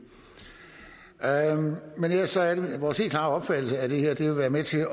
men ellers er det vores helt klare opfattelse at det her vil være med til